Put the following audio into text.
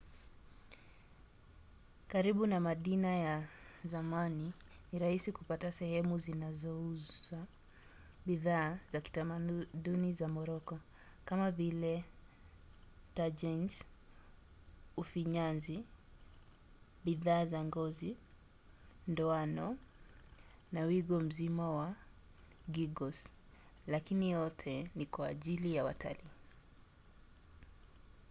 karibu na madina ya zamani ni rahisi kupata sehemu zinazouza bidhaa za kitamaduni za moroko kama vile tagines ufinyanzi bidhaa za ngozi ndoano na wigo mzima wa geegaws lakini yote ni kwa ajili ya watalii